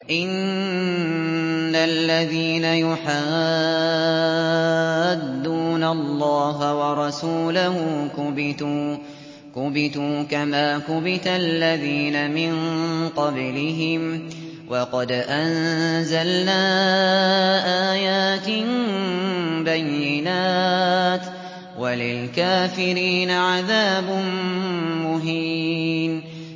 إِنَّ الَّذِينَ يُحَادُّونَ اللَّهَ وَرَسُولَهُ كُبِتُوا كَمَا كُبِتَ الَّذِينَ مِن قَبْلِهِمْ ۚ وَقَدْ أَنزَلْنَا آيَاتٍ بَيِّنَاتٍ ۚ وَلِلْكَافِرِينَ عَذَابٌ مُّهِينٌ